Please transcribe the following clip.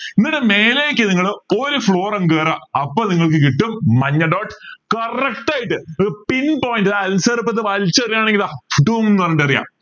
ഇതിനു മേലേക്ക് നിങ്ങൾ ഒരു floor അങ്ങ് കയറ അപ്പോ നിങ്ങൾക്ക് കിട്ടും മഞ്ഞ dot correct ആയിട്ട് pin point ഇതാ വലിച്ചെറിഞ്ഞത് ആണെങ്ക ഇത ന്നു പറഞ്ഞിട്ട് എറിയാം